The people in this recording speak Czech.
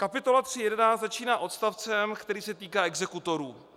Kapitola 3.11 začíná odstavcem, který se týká exekutorů.